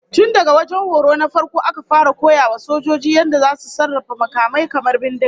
Tun daga wajen horo na farko aka fara koya wa sojojin yadda zasu sarrafa makamai kamar bindiga